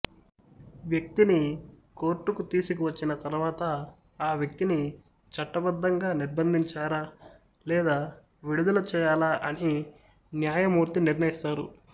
వ్యక్తిని కోర్టుకు తీసుకువచ్చిన తర్వాత ఆ వ్యక్తిని చట్టబద్ధంగా నిర్బంధించారా లేదా విడుదల చేయాలా అని న్యాయమూర్తి నిర్ణయిస్తారు